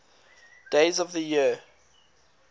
days of the year